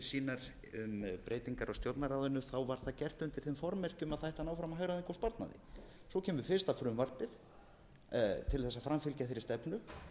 sínar um breytingar á stjórnarráðinu var það gert undir þeim formerkjum að það ætti að ná fram hagræðingu og sparnaði svo kemur fyrsta frumvarpið til þess að framfylgja þeirri stefnu